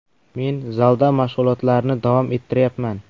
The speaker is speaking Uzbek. Men zalda mashg‘ulotlarni davom ettiryapman.